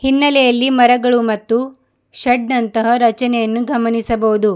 ಹಿನ್ನಲೇಯಲ್ಲಿ ಮರಗಳು ಮತ್ತು ಶೆಡ್ ನಂತಹ ರಚನೆಯನ್ನೂ ಗಮನಿಸಬಹುದು.